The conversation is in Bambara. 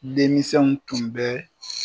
Denmisɛnw tun bɛ